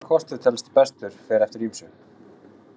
Hvaða kostur telst bestur fer eftir ýmsu.